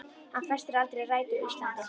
Hann festir aldrei rætur á Íslandi.